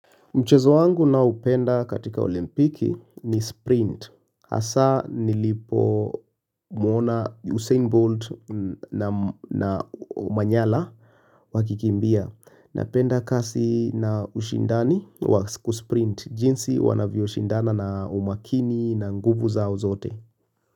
Mchezo wangu naopenda katika olimpiki ni sprint. Hasaa nilipo muona Usain Bolt na Omanyala wakikimbia. Napenda kasi na ushindani wa kusprint. Jinsi wanavyoshindana na umakini na nguvu zao zote.